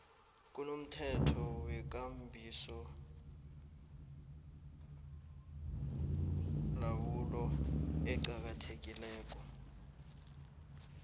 kunomthetho wekambisolawulo oqakathekileko